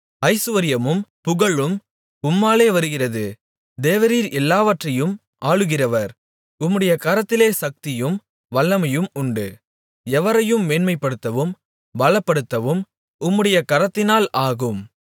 ஐசுவரியமும் புகழும் உம்மாலே வருகிறது தேவரீர் எல்லாவற்றையும் ஆளுகிறவர் உம்முடைய கரத்திலே சக்தியும் வல்லமையும் உண்டு எவரையும் மேன்மைப்படுத்தவும் பலப்படுத்தவும் உம்முடைய கரத்தினால் ஆகும்